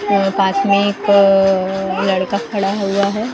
यहाँ पास में एक लड़का खड़ा हुआ है ।